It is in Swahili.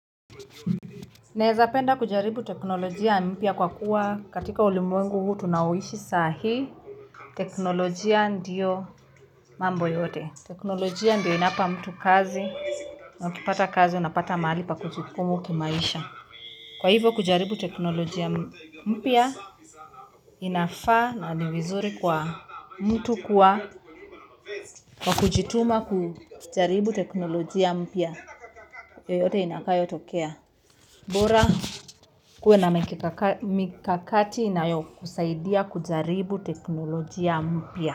Naeza penda kujaribu teknolojia mpya kwa kuwa katika ulimwengu huu tunaoishi sahi teknolojia ndio mambo yote. Teknolojia ndio inapa mtu kazi na ukipata kazi unapata mahali pa kujikimu kimaisha. Kwa hivyo kujaribu teknolojia mpya, inafaa na ni vizuri kwa mtu kwa kujituma kujaribu teknolojia mpya. Yoyote inakayotokea. Bora kuwe na mikakati inayokusaidia kujaribu teknolojia mpya.